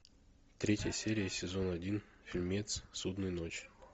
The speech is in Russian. третья серия сезон один фильмец судная ночь